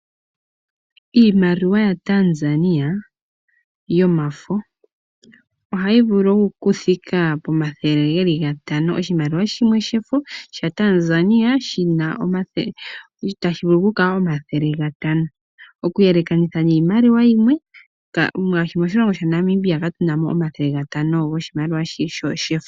Iimaliwa yaTanzania yomafo ohayi vulu oku thika pomathele geli gatano. Oshimaliwa shimwe shefo sha Tanzania tashi vulu oku kala omathele gatano, oku yelekanitha niimaliwa yimwe. Ngaashi moshilongo shaNamibia katu namo omathele gatano goshimaliwa shi shefo.